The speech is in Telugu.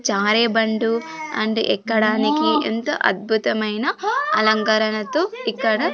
జారే బండు అండ్ ఎక్కడానికి ఎంతో అద్భుతమైన అలంకరణతో ఇక్కడ.